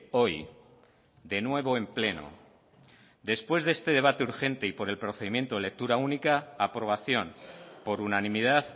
hoy de nuevo en pleno después de este debate urgente y por el procedimiento lectura única aprobación por unanimidad